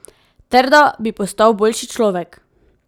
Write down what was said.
Ter da bi postal boljši človek.